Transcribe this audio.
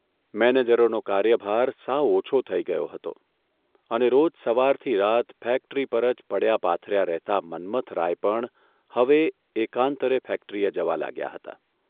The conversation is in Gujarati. મેનેજરોનો કાર્યભાર સાવ ઓછો થઇ ગયો હતો અને રોજ સવારથી રાત ફેક્ટરી પર જ પડ્યા પાથર્યા રહેતા મન્મથરાય પણ હવે એકાંતરે ફેક્ટરીએ જવા લાગ્યા હતા.